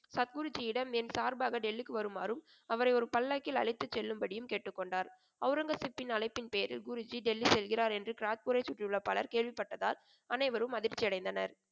சத்குருஜியிடம் என் சார்பாக டெல்லிக்கு வருமாறும் அவரை ஒரு பல்லக்கில் அழைத்துச் செல்லும்படியும் கேட்டுக்கொண்டார். ஒளரங்கசீப்பின் அழைப்பின் பேரில் குருஜி டெல்லி செல்கிறார் என்று கிராத்பூரைச் சுற்றியுள்ள பலர் கேள்விப்பட்டதால் அனைவரும் அதிர்ச்சியடைந்தனர்.